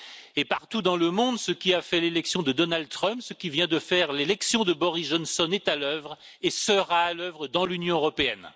Et partout dans le monde, ce qui a fait l'élection de Donald Trump, ce qui vient de faire l'élection de Boris Johnson, est à l'œuvre et sera à l'œuvre dans l'Union européenne.